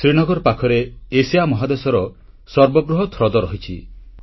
ଶ୍ରୀନଗର ପାଖରେ ଏସିଆ ମହାଦେଶର ସର୍ବବୃହତ୍ ହ୍ରଦ ରହିଛି